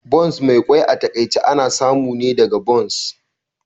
Buns Mai kwai a takaice ana samu ne daga buns